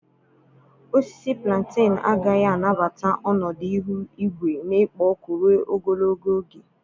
Osisi Plantenu agaghị anabata ọnọdụ ihu igwe na-ekpo ọkụ ruo ogologo oge.